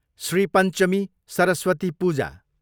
Shri Panchami, Saraswati Puja